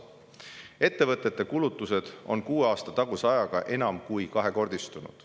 Ettevõtete kulutused on kuue aasta taguse ajaga enam kui kahekordistunud.